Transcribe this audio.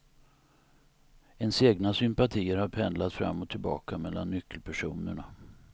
Ens egna sympatier har pendlat fram och tillbaka mellan nyckelpersonerna.